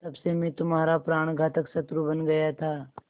तब से मैं तुम्हारा प्राणघातक शत्रु बन गया था